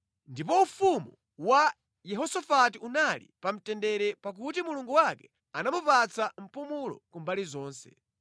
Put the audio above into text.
Ndipo ufumu wa Yehosafati unali pa mtendere pakuti Mulungu wake anamupatsa mpumulo ku mbali zonse.